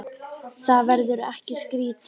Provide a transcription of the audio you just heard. Verður það ekki skrítið?